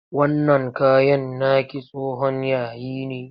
Wannan kayan naki tsohon yayi ne.